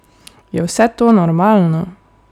Je vse to normalno?